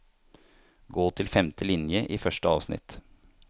Gå til femte linje i første avsnitt